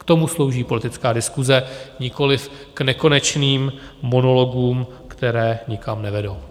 K tomu slouží politická diskuse, nikoliv k nekonečným monologům, které nikam nevedou.